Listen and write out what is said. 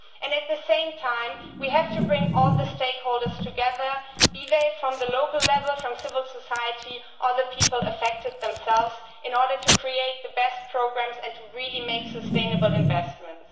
At the same time, we have to bring all the stakeholders together, be they from the local level, from civil society or the people affected themselves, in order to create the best programmes and to really make sustainable investments.